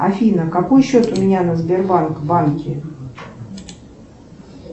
афина какой счет у меня на сбербанк банке